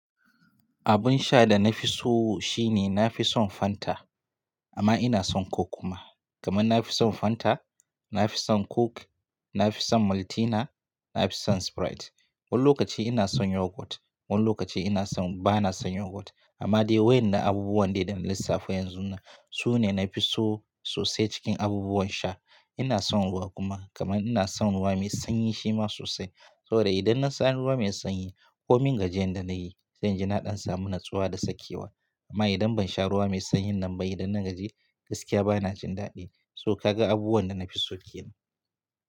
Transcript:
Abun sha da na fi so shine na fi son Fanta amma ina son Coke kuma. Kaman na fi son Fanta, na fi son Coke, na fi son Maltina, na fi son Sprite. Wani lokaci ina son Yogurt, wani lokaci ina son ba na son Yogurt. Amma dai wayannan abubuwan ne da na lissafa yanzu nan su ne na fi so sosai cikin abubuwan sha. Ina son ruwa kuma kaman ina son ruwa mai sanyi shima sosai. Saboda idan na sha ruwa mai sanyi ko min gajiyan da na yi, zan ji naɗan samu natsuwa da sakewa. Amma idan ban sha ruwa mai sanyi nan ba idan na gaji gaskiya ba na jin daɗi. So ka ga abubuwan da na fi so kenan.